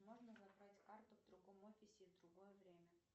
можно забрать карту в другом офисе и в другое время